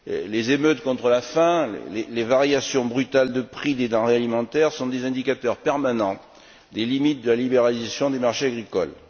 Les émeutes contre la faim, les variations brutales de prix des denrées alimentaires sont des indicateurs permanents des limites de la libéralisation du marché agricole.